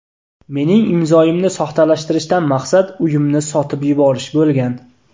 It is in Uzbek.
Mening imzoyimni soxtalashtirishdan maqsad uyimni sotib yuborish bo‘lgan.